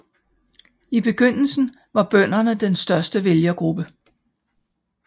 I begyndelsen var bønderne den største vælgergruppe